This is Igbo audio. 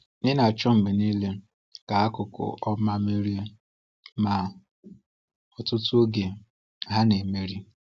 Ị na-achọ mgbe niile ka akụkụ ọma merie, ma ọtụtụ oge ha na-emeri.